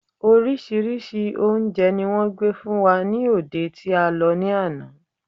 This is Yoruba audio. Orísírìsí oúnje ni wón gbé fún wa ni òde tí a lo ní ana